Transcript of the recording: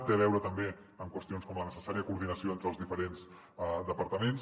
té a veure també amb qüestions com la necessària coordinació entre els diferents departaments